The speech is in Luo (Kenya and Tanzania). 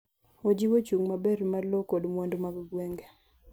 ojiwo chung maber mar lowo koda mwandu mag gwenge